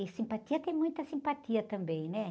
E simpatia tem muita simpatia também, né?